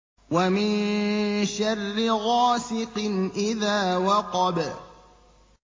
وَمِن شَرِّ غَاسِقٍ إِذَا وَقَبَ